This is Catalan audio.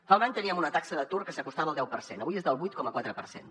fa un any teníem una taxa d’atur que s’acostava al deu per cent avui és del vuit coma quatre per cent